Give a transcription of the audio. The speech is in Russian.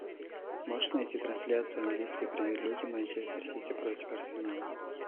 можешь найти трансляцию английской премьер лиги манчестер сити против арсенала